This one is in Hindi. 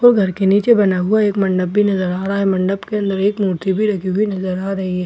और घर के नीचे बना हुआ एक मंडप भी नजर आ रहा है मंडप के अंदर एक मूर्ति भी रखी हुई नजर आ रही है बाहर बे --